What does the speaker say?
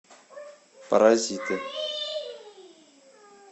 паразиты